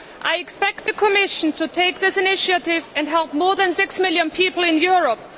I expect the Commission to take this initiative and help more than 6 million people in Europe.